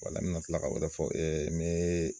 n bɛna tila ka fɔ ne.